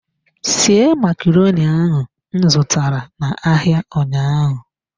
Sie macaroni ahu m zụtara n'ahịa ụnyaahụ.